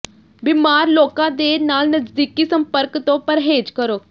ਬੀਮਾਰ ਲੋਕਾਂ ਦੇ ਨਾਲ ਨਜ਼ਦੀਕੀ ਸੰਪਰਕ ਤੋਂ ਪਰਹੇਜ਼ ਕਰੋ